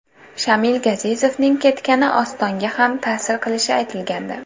Shamil Gazizovning ketgani Ostonga ham ta’sir qilishi aytilgandi.